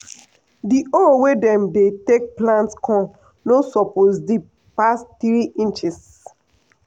di hole wey dem dey take plant corn no suppose deep pass three inches.